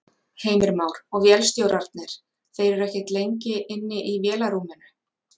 Heimir Már: Og vélstjórarnir, þeir eru ekkert lengi inni í vélarrúminu?